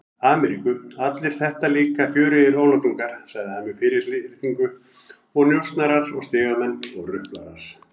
Ameríku, allir þetta líka fjörugir oflátungar, sagði hann með fyrirlitningu, njósnarar og stigamenn og ruplarar.